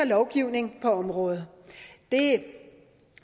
lovgivning på området